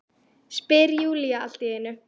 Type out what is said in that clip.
spyr Júlía allt í einu.